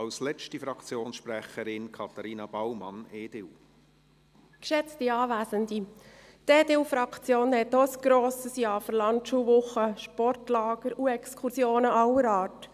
Die EDU-Fraktion hat auch ein grosses Ja für Landschulwochen, Sportlager und Exkursionen aller Art.